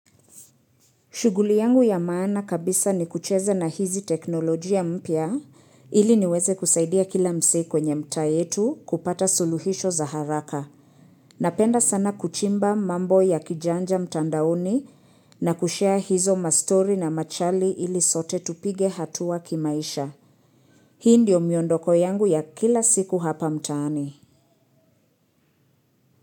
Shughuli yangu ya maana kabisa ni kucheza na hizi teknolojia mpya ili niweze kusaidia kila msee kwenye mtaa yetu kupata suluhisho za haraka. Napenda sana kuchimba mambo ya kijanja mtandaoni na kushare hizo mastori na machali ili sote tupige hatua kimaisha. Hii ndio miondoko yangu ya kila siku hapa mtaani.